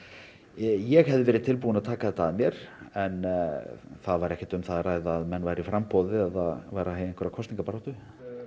ég hefði verið tilbúinn að taka þetta að mér en það var ekkert um það að ræða að menn væru í framboði eða í einhverri kosningabaráttu